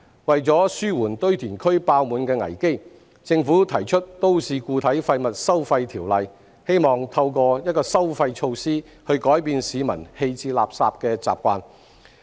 為紓緩堆填區爆滿的危機，政府提出《條例草案》，希望透過一項收費措施改變市民棄置垃圾的習慣。